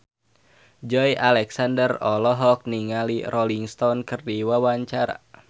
Joey Alexander olohok ningali Rolling Stone keur diwawancara